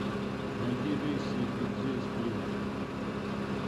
найди рейсы в бицзе из плимута